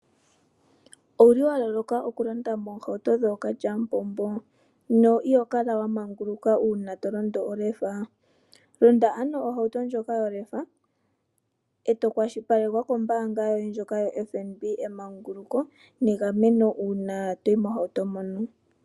Owuli wa loloka okulonda moohauto dhookalyamupombo? no ihokala wa manguluka uuna tolondo olefa ,londa ano ohauto ndjoka yolefa , ee tokwashilipalekwa kombaanga yoye ndjoka yoFnb emanguluko, negameno uuna toyi mohauto mono.